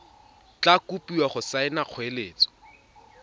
tla kopiwa go saena kgoeletso